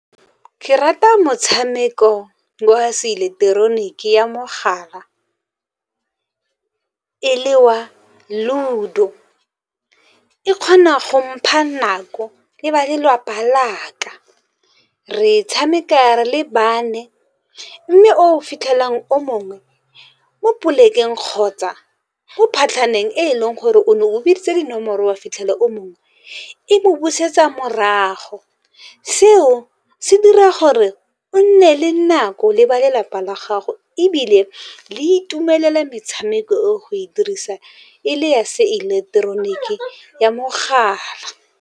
Ke rata motshameko wa seileketeroniki ya mogala e le wa Ludo, e kgona go mpha nako le ba lelapa la ka. Re e tshameka re le bane, mme o fitlhelang o mongwe mo polekeng kgotsa mo phatlhaneng e leng gore o ne o biditse dinomoro, o a fitlhela o mongwe e mo busetsa morago. Seo se dira gore o nne le nako le ba lelapa la gago, ebile le itumelele metshameko eo go e dirisa e le ya seileketoroniki ya mogala.